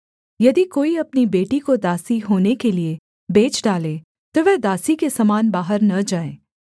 यदि कोई अपनी बेटी को दासी होने के लिये बेच डालें तो वह दासी के समान बाहर न जाए